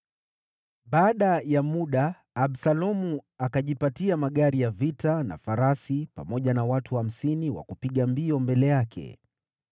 Baada ya muda, Absalomu akajipatia magari ya vita na farasi pamoja na watu hamsini wa kupiga mbio mbele yake.